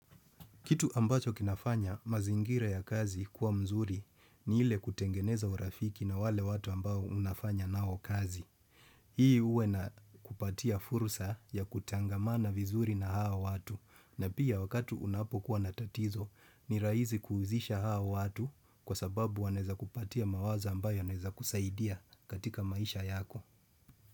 Kitu ambacho kinafanya mazingira ya kazi kuwa mzuri ni ile kutengeneza urafiki na wale watu ambao unafanya nao kazi. Hii huwa inakupatia fursa ya kutangamana vizuri na hao watu. Na pia wakati unapokuwa na tatizo ni rahisi kuhusisha hao watu kwa sababu wanaweza kupatia mawazo ambayo yanaweza kusaidia katika maisha yako.